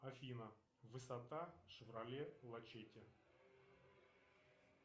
афина высота шевроле лачетти